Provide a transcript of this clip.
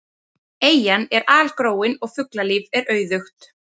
Eyjan er algróin og fuglalíf er auðugt.